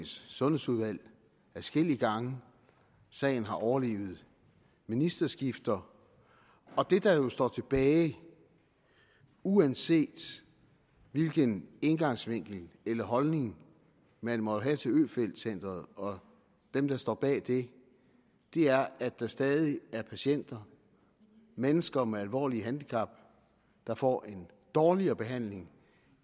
sundhedsudvalg adskillige gange sagen har overlevet ministerskifter og det der jo står tilbage uanset hvilken indgangsvinkel eller holdning man måtte have til øfeldt centret og dem der står bag det er at der stadig er patienter mennesker med alvorlige handicap der får en dårligere behandling